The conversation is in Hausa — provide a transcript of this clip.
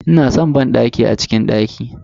Ina san banɗaki a cikin daki.